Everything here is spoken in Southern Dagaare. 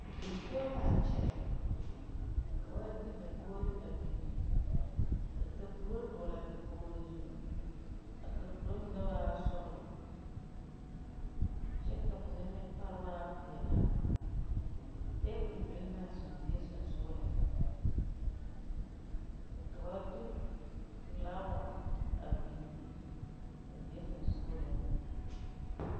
Die poɔ laa kyɛ ka ba de dakogre a biŋ ka kapuro dɔɔlaa dakogro zu a kapuro mine waa sɔglɔ kyɛ ka mine meŋ pare waa peɛlaa tabol biŋ laa die sensugliŋ ka ba de flaawa a bini a die sensugliŋ.